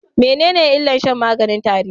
Menene illar shan maganin tare?